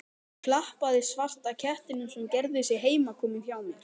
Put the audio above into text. Klappaði svarta kettinum sem gerði sig heimakominn hjá mér.